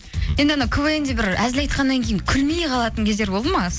енді ана квн де бір әзіл айтқаннан кейін күлмей қалатын кездер болды ма